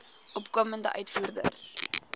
opkomende uitvoerders